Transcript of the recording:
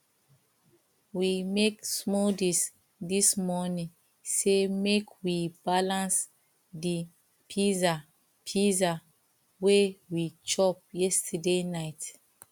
we make smoothies dis morning say make we balance the pizza pizza wey we chop yesterday night